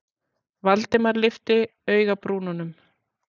Valdimar lyfti augabrúnunum.